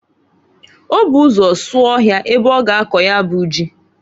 O bu ụzọ sụọ ọhịa ebe ọ ga akọ ya bụ ji.